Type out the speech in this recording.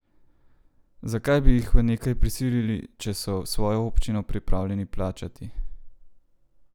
Zakaj bi jih v nekaj prisilili, če so svojo občino pripravljeni plačati?